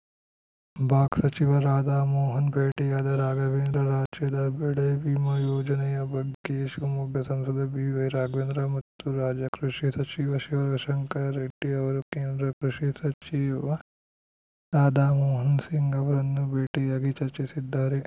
box ಸಚಿವ ರಾಧಾ ಮೋಹನ್‌ ಭೇಟಿಯಾದ ರಾಘವೇಂದ್ರ ರಾಜ್ಯದ ಬೆಳೆ ವಿಮ ಯೋಜನೆಯ ಬಗ್ಗೆ ಶಿವಮೊಗ್ಗ ಸಂಸದ ಬಿವೈರಾಘವೇಂದ್ರ ಮತ್ತು ರಾಜ್ಯ ಕೃಷಿ ಸಚಿವ ಶಿವಶಂಕರ ರೆಡ್ಡಿ ಅವರು ಕೇಂದ್ರ ಕೃಷಿ ಸಚಿವ ರಾಧಾ ಮೋಹನ್‌ ಸಿಂಗ್‌ ಅವರನ್ನು ಭೇಟಿಯಾಗಿ ಚರ್ಚಿಸಿದ್ದಾರೆ